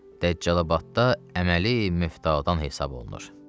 Dəccalabadda əməli müftadan hesab olunur.